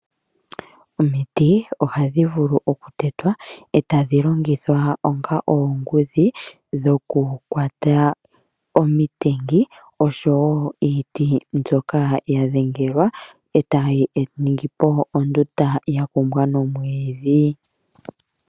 Omiti ohadhi vulu okutetwa etadhilongithwa onga oongudhi dhoku kwata omitengi oshowo iiti mbyoka yadhengelwa etayiningipo ondunda ya kumbwa nomwiidhi.